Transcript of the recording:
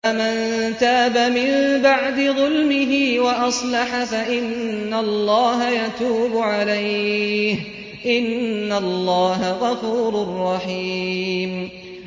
فَمَن تَابَ مِن بَعْدِ ظُلْمِهِ وَأَصْلَحَ فَإِنَّ اللَّهَ يَتُوبُ عَلَيْهِ ۗ إِنَّ اللَّهَ غَفُورٌ رَّحِيمٌ